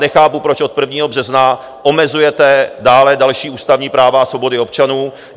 Nechápu, proč od 1. března omezujete dále další ústavní práva a svobody občanů.